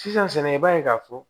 Sisan i b'a ye k'a fɔ